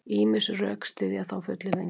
Ýmis rök styðja þá fullyrðingu.